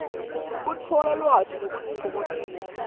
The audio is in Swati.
kutfola lwati nekutitfokotisa